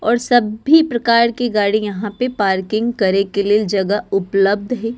और सभी प्रकार की गाड़ी यहाँ पे पार्किंग करे के लिए जगह उपलब्ध है।